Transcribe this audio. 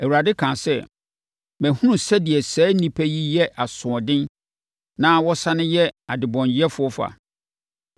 Awurade kaa sɛ, “Mahunu sɛdeɛ saa nnipa yi yɛ asoɔden na wɔsane yɛ adɔnyɛfoɔ fa.